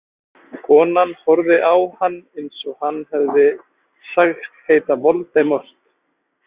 Konan horfði á hann eins og hann hefði sagst heita Voldemort.